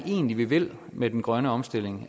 egentlig vi vil med den grønne omstilling